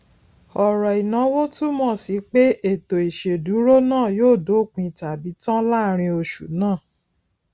ọrọ inawo túmọ sí pé ètò ìṣèdúró náà yóò dópin tabi tan láàrin oṣù náà